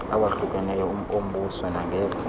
awahlukeneyo ombuso nangekho